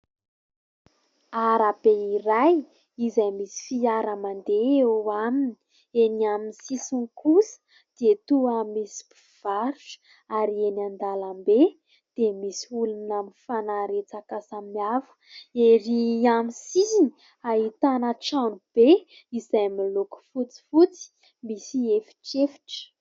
Ara-be iray izay misy fiara mandeha eo aminy; eny amin'ny sisiny kosa dia toa misy mpivarotra ary eny an-dalambe dia misy olona mifanaretsaka samihafa ; ery amin'ny sisiny, ahitana trano be izay amin'ny loko fotsifotsy, misy efitrefitra.